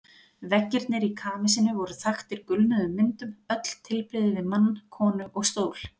Veggirnir í kamesinu voru þaktir gulnuðum myndum, öll tilbrigði við mann, konu og stól.